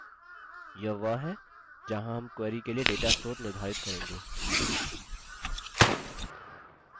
यह वह है जहाँ हम query के लिए data स्रोत निर्धारित करेंगे